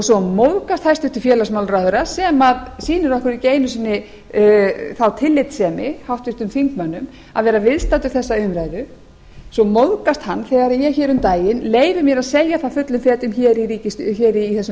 svo móðgast hæstvirts félagsmálaráðherra sem sýnir okkur ekki einu sinni þá tillitssemi háttvirtum þingmönnum að vera viðstaddur þessa umræðu svo móðgast hann þegar ég hér um daginn leyfi mér að segja það fullum fetum hér í þessum